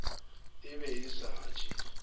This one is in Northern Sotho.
e be e sa je